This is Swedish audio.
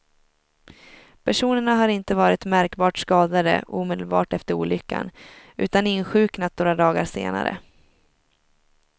Personerna har inte varit märkbart skadade omedelbart efter olyckan, utan insjuknat några dagar senare.